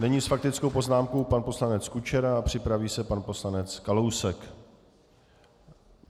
Nyní s faktickou poznámkou pan poslanec Kučera a připraví se pan poslanec Kalousek.